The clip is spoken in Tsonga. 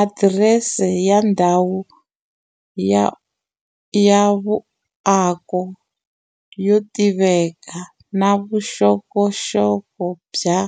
Adirese ya ndhawu ya vuako yo tiveka, na vuxokoxoko bya